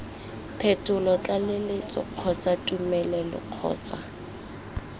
phetolo tlaleletso kgotsa tumelelo kgotsa